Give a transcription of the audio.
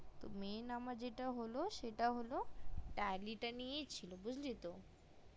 main আমার যেটা হলো সেটা হলো tally টা নিয়েই ছিল বুজলি তো